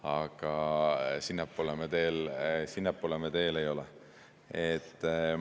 Aga sinnapoole me teel ei ole.